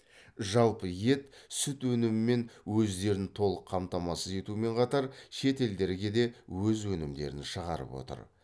жалпы ет сүт өнімімен өздерін толық қамтамасыз етумен қатар шет елдерге де өз өнімдерін шығарып отыр